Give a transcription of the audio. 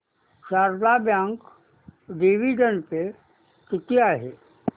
Sharda bank dividend pay किती आहे